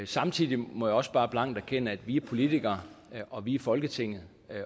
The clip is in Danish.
samtidig må jeg også bare blankt erkende at vi er politikere og at vi er folketinget